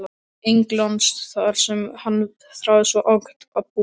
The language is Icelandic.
Englands þar sem hann þráði svo ákaft að búa.